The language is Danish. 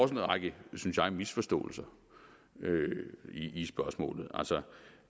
en række synes jeg misforståelser i spørgsmålet altså